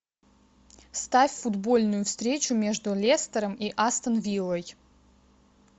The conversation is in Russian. ставь футбольную встречу между лестером и астон виллой